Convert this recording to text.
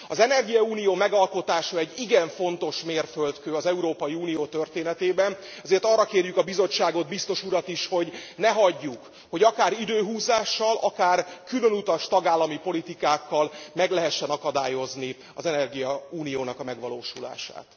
Az energiaunió megalkotása egy igen fontos mérföldkő az Európai Unió történetében, ezért arra kérjük a Bizottságot, Biztos urat is, hogy ne hagyjuk, hogy akár időhúzással, akár különutas tagállami politikákkal meg lehessen akadályozni az energiaunió megvalósulását.